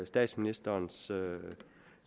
statsministerens